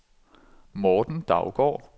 Morten Daugaard